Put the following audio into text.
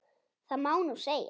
Það má nú segja.